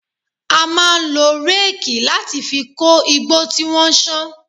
A máa ń lo réèkì láti fi kó igbó tí wọ́n ṣán